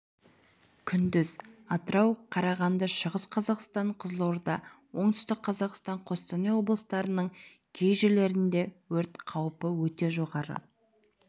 күндіз атырау қарағанды шығыс қазақстан қызылорда отүстік қазақстан қостанай облыстарының кей жерлерінде өрт қаупі өте жоғары